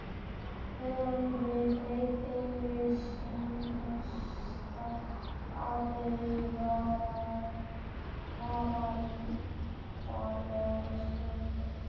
Höfum við breytt einu einasta atriði í veraldlegu skipulagi þeirra?